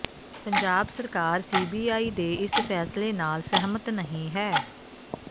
ਪੰਜਾਬ ਸਰਕਾਰ ਸੀਬੀਆਈ ਦੇ ਇਸ ਫ਼ੈਸਲੇ ਨਾਲ ਸਹਿਮਤ ਨਹੀਂ ਹੈ